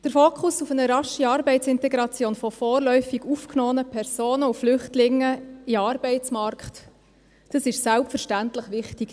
Der Fokus auf eine rasche Arbeitsintegration von vorläufig aufgenommenen Personen und Flüchtlingen in den Arbeitsmarkt, das ist selbstverständlich wichtig.